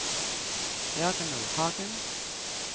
Jørgen Nordhagen